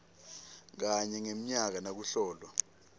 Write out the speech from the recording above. kanye ngemnyaka nakuhlolwa